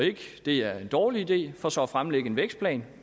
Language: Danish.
det er en dårlig idé for så at fremlægge en vækstplan